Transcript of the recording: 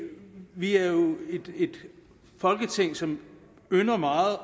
vi er jo et folketing som ynder meget